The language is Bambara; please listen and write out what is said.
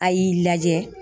A y'i lajɛ